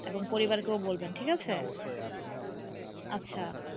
এখন পরিবারকেও বলবেন ঠিক আছে. অবশ্যই আপনিও আপনার